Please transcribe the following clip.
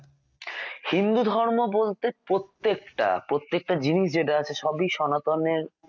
হিন্দু ধর্ম বলতে প্রত্যেকটা প্রত্যেকটা জিনিস যেটা আছে সবই সনাতনের